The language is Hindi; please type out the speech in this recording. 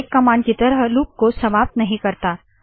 यह ब्रेक कमांड की तरह लूप को समाप्त नहीं करता